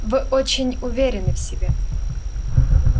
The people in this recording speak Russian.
вы очень уверены в себе